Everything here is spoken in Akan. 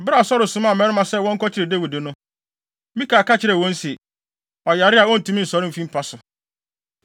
Bere a Saulo somaa mmarima sɛ wɔnkɔkyere Dawid no, Mikal ka kyerɛɛ wɔn se, “Ɔyare a ontumi nsɔre mfi mpa so.”